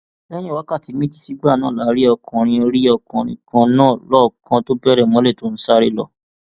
lẹyìn wákàtí méjì sígbà náà la rí ọkùnrin rí ọkùnrin kan náà lọọọkán tó bẹrẹ mọlẹ tó ń sáré lọ